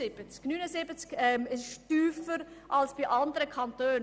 Dieser ist tiefer als in anderen Kantonen.